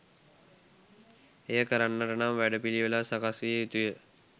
එය කරන්නට නම් වැඩ පිළිවෙළක් සකස් විය යුතුය.